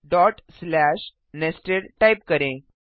dot slash nested type करें